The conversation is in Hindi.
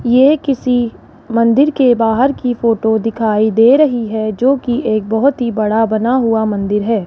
ये किसी मंदिर के बाहर की फोटो दिखाई दे रही है जोकि एक बहोत ही बड़ा बना हुआ मंदिर है।